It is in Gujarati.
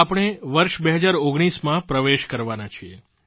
આપણે વર્ષ 2019માં પ્રવેશ કરવાના છીએ